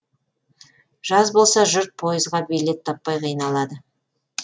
жаз болса жұрт пойызға билет таппай қиналады